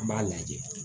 An b'a lajɛ